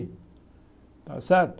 Está certo?